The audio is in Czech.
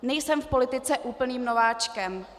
Nejsem v politice úplným nováčkem.